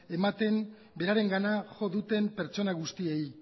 ematen berarengana jo duten pertsona guztiei